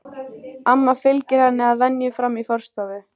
Amma fylgir henni að venju fram í forstofu.